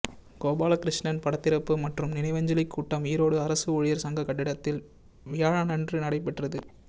கோபாலகிருஷ்ணன் படத்திறப்பு மற்றும் நினைவஞ்சலிக் கூட்டம்ஈரோடு அரசு ஊழியர் சங்க கட்டிடத்தில் வியாழனன்று நடைபெற்றது